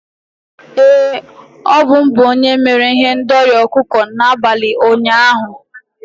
Ee, ọ bụ m bụ onye mere ihendori ọkụkọ n'abalị ụnyaahụ.